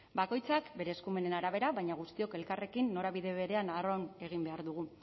bakoitzak bere eskumenen arabera baina guztiok elkarrekin norabide berean arraun egin behar dugu